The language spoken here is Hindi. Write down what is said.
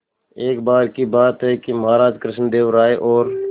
एक बार की बात है कि महाराज कृष्णदेव राय और